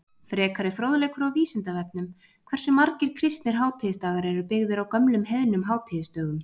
Frekari fróðleikur á Vísindavefnum: Hversu margir kristnir hátíðisdagar eru byggðir á gömlum heiðnum hátíðisdögum?